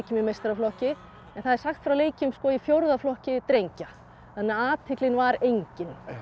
meistaraflokki en það er sagt frá leikjum í fjórða flokki drengja þannig að athyglin var engin